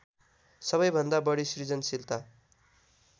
सबैभन्दा बढी सिर्जनशीलता